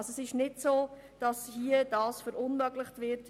Dergleichen wird nicht verunmöglicht.